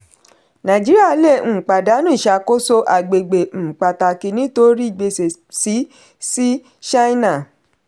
nàìjíríà lè um pàdánù iṣàkóso agbègbè um pàtàkì nítorí gbèsè sí sí china.